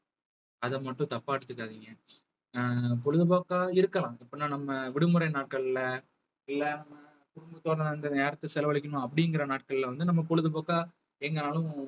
அதை மட்டும் தப்பா எடுத்துக்காதீங்க அஹ் பொழுதுபோக்கா இருக்கலாம் எப்படின்னா நம்ம விடுமுறை நாட்கள்ல இல்ல நம்ம குடும்பத்தோட அந்த நேரத்தை செலவழிக்கணும் அப்படிங்கிற நாட்கள்ல வந்து நம்ம பொழுதுபோக்கா எங்கனாலும்